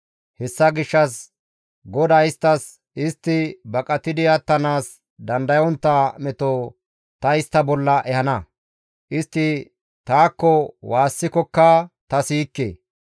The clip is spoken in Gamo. Hessa gishshas GODAY isttas, ‹Istti baqatidi attanaas dandayontta meto ta istta bolla ehana. Istti taakko waassikokka ta siyikke.